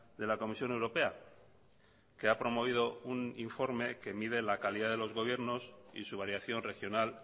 de la comisión europea que ha promovido un informe que mide la calidad de los gobiernos y su variación regional